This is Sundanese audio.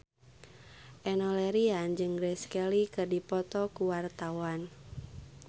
Enno Lerian jeung Grace Kelly keur dipoto ku wartawan